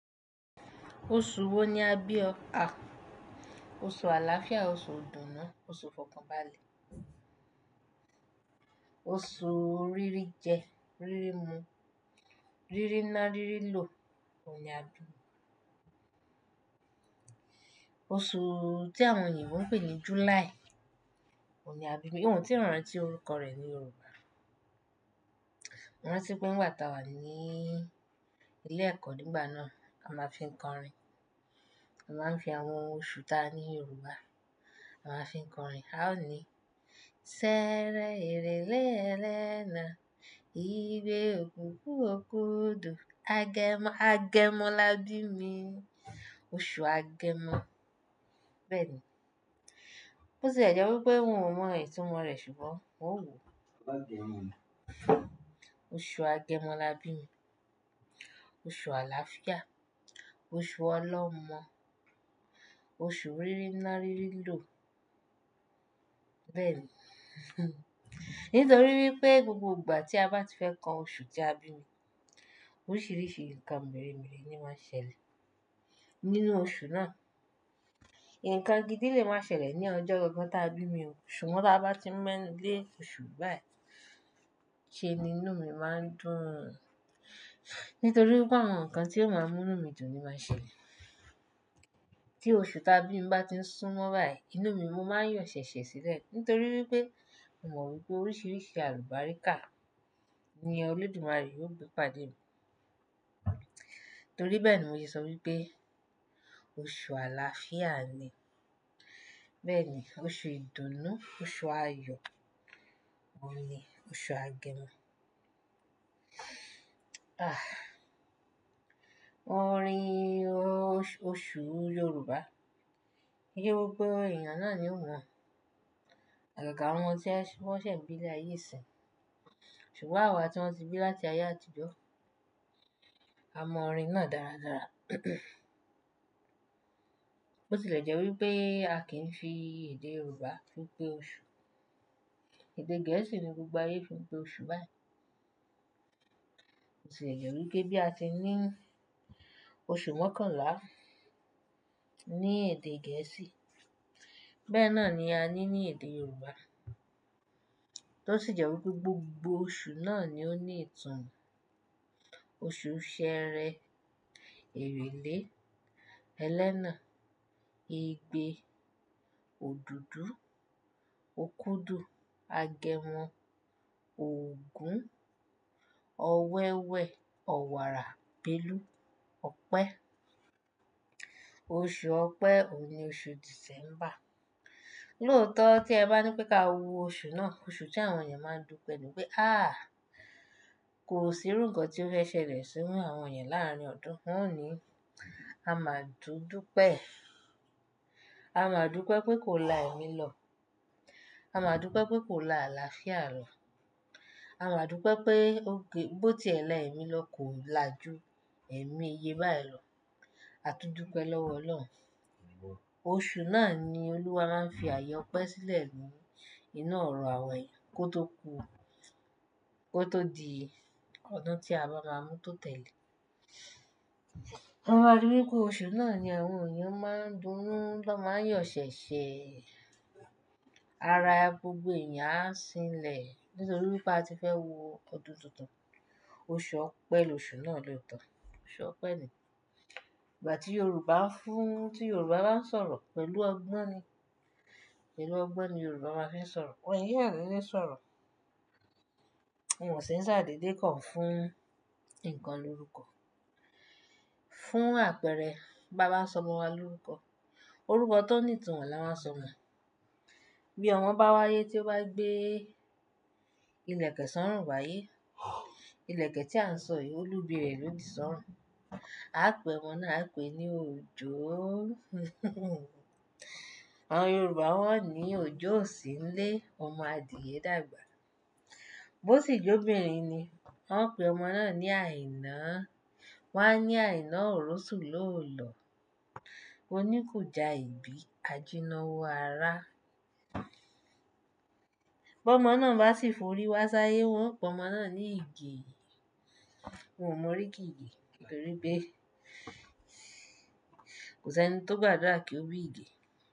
Oṣù wo ni a bí ọ? A, oṣù Àlàáfíà, oṣù ìdùnnú, oṣù Fọkànbalẹ̀, oṣù Rírí jẹ, rírí mu, rírí ná, rírí lò, òun ni a bí mi. Oṣù tí àwọn ènìyàn ń pè ní July, òun ni a bí mi. Ohun tí rán tí orúkọ rẹ̀ ní Yorùbá. Mo rántí pé nìgbà tà wá ní ilé ẹ̀kọ́ nígbà náà, a máa fi ń kọrin. A máa ń fi àwọn oṣù ta ní Yorùbá, a máa fi ń kọrin. A ó ní, ṣẹẹrẹ èrèl3 ẹrẹ́nà, ìgbé òkúkú òkudu, agẹmọ, agẹmọ lá bí mi. Oṣù Agẹmọ, bẹ́ẹ̀ ni. Bó ti lẹ̀ jẹ́ wípé ohun ò mọ ìtumò rẹ̀ ṣùgbọ́n òun wò. Agẹmọ. Oṣù Agẹmọ lá bí mi. Oṣù Àlàáfíà, oṣù Ọlọ́mọ, oṣù Rírí ná, rírí lò, bẹ́ẹ̀ ni. Nítorí wípé gbogbo ìgbà tí a bá ti fẹ́ kọ oṣù tí a bí mi, oríṣìíríṣìí nǹkan mere-mere ni ómánsẹlẹ̀ nínú oṣù náà. Ìǹkan gidi lè máa ṣẹlẹ̀ ní ọjọ́ táa bí mi, ṣùgbọ́n tí a bá ti ń mẹ́ lé oṣù báyìí, ṣé inú mi máa ń dùn. Nítorí pé àwọn nǹkan tí ó máa mú inú mi dùn ni wọ́n máa ń ṣẹlẹ̀. Tí oṣù tí a bí mi bá ti ń súnmọ́ báyìí, inú mi máa ń yọ̀ ṣẹ̀ṣẹ̀ sílẹ̀ nítorí wípé mo mọ̀ wípé oríṣìíríṣìí àlùbáríkà ni Olódùmarè yóò gbé pàdé mi. Nítorí bẹ́ẹ̀ ni mo ṣe sọ wípé oṣù Àlàáfíà ni. Bẹ́ẹ̀ ni, oṣù ìdùnnú, oṣù Ayo, òun ni oṣù Agẹmọ. Ah! Orin oṣo-oṣù Yorùbá, yio gbogbo èèyàn náà ni ó mọ̀. Àgàgà àwọn tí wọ́n ńsẹ̀ bí ní ilé ayé nisin Ṣùgbọ́n àwa tí wọ́n ti bí láti ayé àtijọ́, a mọ orin náà dára dára. Bó ti lẹ̀ jẹ́ wípé a kì í fi èdè Yorùbá fi pe oṣù. Èdè Gẹ̀ẹ́sì ni gbogbo ayé fi ń pe oṣù báyìí. Bó ti lẹ̀ jẹ́ wípé bí a ti ní oṣù mọ́kànlá ní èdè Gẹ̀ẹ́sì, bẹ́ẹ̀ náà ni a ní ní èdè Yorùbá. Ló sì jẹ́ wípé gbogbo oṣù náà ni ó ní ìtàn. Oṣù ṣẹẹrẹ, èrèlé, ẹlẹ́na, igbe, òdùdú, òkudu, agẹmọ, ògún, ọ̀wẹ́wẹ, ọ̀wààrà, bélú, ọpẹ. Oṣù ọpẹ òun ni oṣù Dìsẹ́mbà. Lóòótọ́ tí ẹ bá ní pé kí a wo oṣù náà, oṣù tí àwọn èèyàn máa ń dùpẹ́ ni pé, "Áà! Kò sí irú nǹkan tí ó fẹ́ ṣẹlẹ̀ sínú àwọn èèyàn láàárín ọdún." Wọ́n ó ní, "A máa dùn pẹ́. A máa dùn pẹ́ pé kò lá ẹ̀mí lọ. A máa dùn pẹ́ pé kò lá àlàáfíà lọ. A máa dùn pẹ́ pé, bó tí ẹlà ẹ̀mí lọ kò lá ju ẹ̀mí iye báyìí lọ. A túndùn pẹ́ lọ́wọ́ Ọlọ́run." Oṣù náà ni Olúwa máa ń fi àyè ọpẹ sílẹ̀ nínú ọ̀rọ̀ àwa ènìyàn kó tó ku, kó tó di ọdún tí a bá ra mú tó tẹ̀lé. Wọ́n máa rí i wípé oṣù náà ni àwọn èèyàn máa ń dunnù, ló máa ń yọ ṣẹ̀ṣẹ̀. Ara gbogbo èèyàn á sìnlẹ̀ nítorí wípé a ti fẹ́ wo ọdún tuntun. Oṣù ọpẹ lóṣù náà lóòótọ́, oṣù ọpẹ ni. Ìgbà tí Yorùbá ń fún, tí Yorùbá bá ń sọ̀rọ̀ pẹ̀lú ọgbọ́n ni. Pẹ̀lú ọgbọ́n ni Yorùbá máa ń fi sọ̀rọ̀. Wọn è kán dédé sọ̀rọ̀. Wọn ye kàn ṣàdédé kàn fún ǹkan lorúkọ. Fún àpẹẹrẹ, bá bá sọmọ wa lórúkọ, orúkọ tó ní ìtàn ni a máa sọ mọ. Bí ọmọ bá wáyé tí ó bá gbé ilẹ̀kẹ̀ sọ́rún wáyé, ilẹ̀kẹ̀ tí à ń sọ yìí, olúbi rẹ̀ ló di sọ́rún. A pé ọmọ náà pé ní Òjó. Àwọn Yorùbá wọ́n ní Òjó sì ń lé, ọmọ adìẹ dàgbà. Bó sí jé Obìnrin ni, wọ́n pé ọmọ náà ní Àìná. Wọ́n á ní Àìná òròsùn lóò lọ, oní kù já ìgbí, ajíná wo ará. Bọ́ ọmọ náà bá sì forí wá sáyé, wọn yóò pe ọmọ náà ní Ige. Òun ò mọ oríki Ige nítorí pé kò sí ẹni tó gbàdúrà kí ó bí Ige.